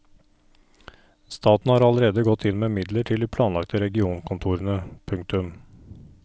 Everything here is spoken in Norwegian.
Staten har allerede gått inn med midler til de planlagte regionkontorene. punktum